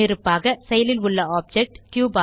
முன்னிருப்பாக செயலில் உள்ள ஆப்ஜெக்ட்